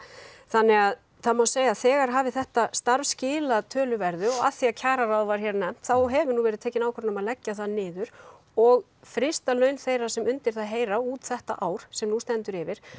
þannig að það má segja að þegar hafi þetta starf skilað töluverðu og af því að kjararáð var hér nefnt þá hefur nú verið tekin ákvörðun um að leggja það niður og þrýsta laun þeirra sem undir það heyra út þetta ár sem nú stendur yfir